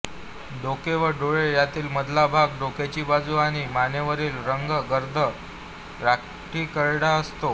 डोके व डोळे यातील मधला भाग डोक्याची बाजू आणि मानेवरील रंग गर्द राखीकरडा असतो